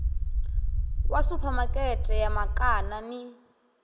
wa suphamakete ya makana ni